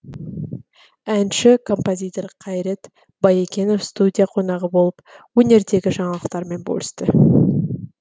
әнші композитор қайрат баекенов студия қонағы болып өнердегі жаңалықтарымен бөлісті